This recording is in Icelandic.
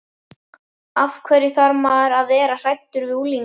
Af hverju þarf maður að vera hræddur við unglingana?